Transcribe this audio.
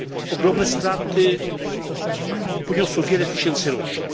Ogromne straty poniosło wiele tysięcy rodzin.